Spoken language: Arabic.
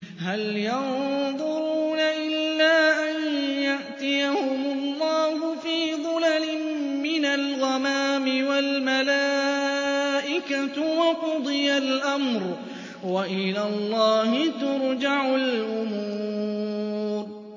هَلْ يَنظُرُونَ إِلَّا أَن يَأْتِيَهُمُ اللَّهُ فِي ظُلَلٍ مِّنَ الْغَمَامِ وَالْمَلَائِكَةُ وَقُضِيَ الْأَمْرُ ۚ وَإِلَى اللَّهِ تُرْجَعُ الْأُمُورُ